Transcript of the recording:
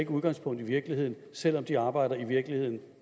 udgangspunkt i virkeligheden selv om de arbejder i virkeligheden